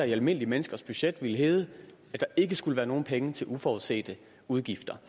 i almindelige menneskers budget ville hedde at der ikke skulle være nogen penge til uforudsete udgifter